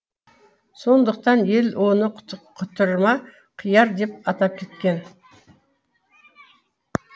сондықтан ел оны құтырма қияр деп атап кеткен